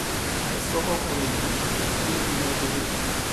ẹ sọ fọkùnrin yìí kó yéé fi iná ṣeré